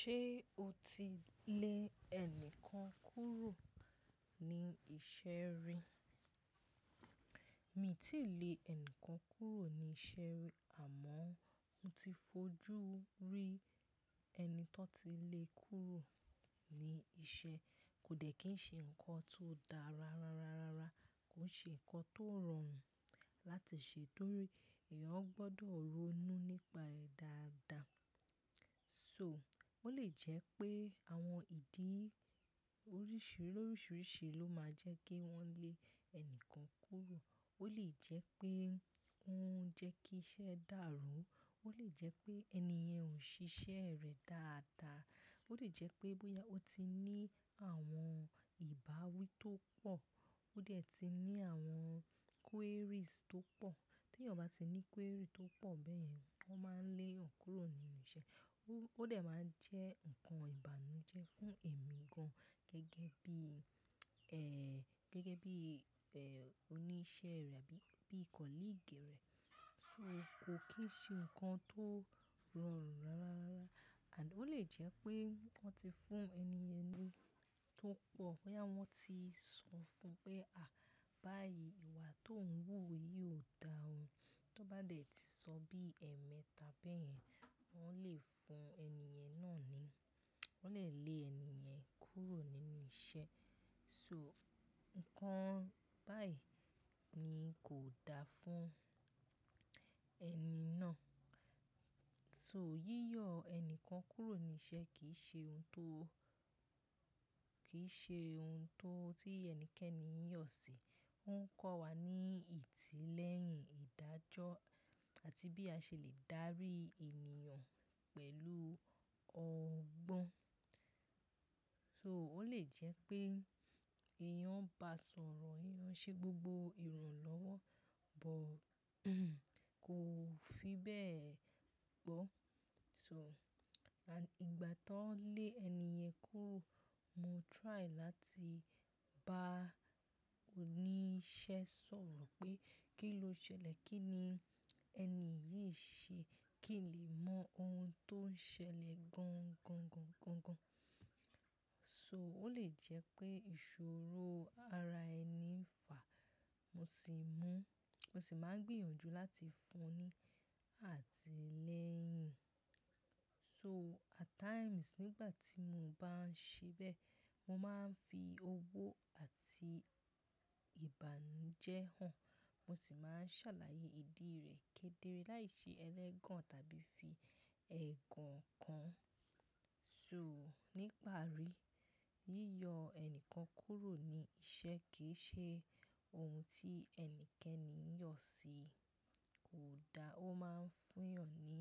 Ṣé o ti lè ẹnìkan kúrò ní iṣẹ́ rí? Mi ò tíì lè ẹnìkan kúrò ní iṣẹ́ rí àmọ́ mo ti fojú rí ẹni tó ti le kúrò ní iṣẹ́. Kò dẹ́ kí ń ṣe nǹkan tó dára rara rara, kò ṣe nǹkan tó rọrùn láti ṣe torí èèyàn gbọdọ̀ ronú nípa rẹ̀ dáadáa. So ó lè jẹ́ pé àwọn ìdí oríṣiríṣi ló máa jẹ́ kí wọ́n lé ẹni kan kúrò. Ó lè jẹ́ pé ó ń jẹ́ kí iṣẹ́ dàrú, ó lè jẹ́ pé ènìyàn ò ń ṣe iṣẹ́ rẹ̀ dáadáa, ó lè jẹ́ pé bóyá ó ti ní àwọn ìbáwí tó pọ̀, ó dẹ̀ ti ní àwọn queries tó pọ̀. Tí èèyàn bá ti ní query tó pọ̀ bẹ́yẹ̀n, wọ́n máa ń lé èèyàn kúrò nínú iṣẹ́. Ó dẹ̀ máa jẹ́ ǹkan ìbànújẹ́ fún èmi gan gẹ́gẹ́ bí, gẹ́gẹ́ bí oníṣẹ́ rẹ̀ àbí bí ìkọ́líìgì rẹ̀. So kò kí ń ṣe ǹkan tó rọrùn rara rara. And ó lè jẹ́ pé wọ́n ti fún ènìyàn ní tó pọ̀, bóyá wọ́n ti sọ fún pé, "À, báyìí ìwà tó ń wù yí ò da o." Tó bá dẹ̀ ti sọ bí ẹ̀ẹ̀mẹ́tà bẹ̀yẹn, wọ́n lè fún ènìyẹn náà ni wọ́n lè lé ènìyàn kúrò nínú iṣẹ́. So nǹkan báyìí ni kò da fún ẹni náà. So yíyọ ẹnìkan kúrò ní iṣẹ́ kì í ṣe ohun tó, kì í ṣe ohun tó tí ẹnikẹ́ni yọ̀ sí. Ó ń kọ́ wa ní ìtìlẹyìn ìdájọ́ àti bí a ṣe lè dárí ènìyàn pẹ̀lú ọgbọ́n. So ó lè jẹ́ pé èèyàn ń ba sọ̀rọ̀, èèyàn ṣe gbogbo ìran lọ́wọ́, but kò fi bẹ́ẹ̀ gbọ́. So à ìgbà tí wọ́n lé ènìyàn kúrò, mo try láti bá oníṣẹ́ sọ̀rọ̀ pé kí ló ṣẹlẹ̀, kí ni ẹni yìí ṣe, kí lè mọ ohun tó ń ṣẹlẹ̀ gan gan gan gan gan. So ó lè jẹ́ pé ìṣòro ara ẹni fà, mo sì mú, mo sì máa gbìyànjú láti fún un ní àtìlẹ́yìn. So at times nígbà tí mo bá ń ṣe bẹ́ẹ̀, mo máa ń fi owó àti ìbànújẹ́ hàn. Mo sì máa ń ṣàlàyé ìdí rẹ̀ kédere láìsí ẹlẹ́gàn tàbí fi ẹ̀gàn kàn. So nípa rí, yíyọ ẹnìkan kúrò ní iṣẹ́ kì í ṣe ohun tí ẹnikẹ́ni yọ̀ sí. Kò da, ó máa ń fún èèyàn ní,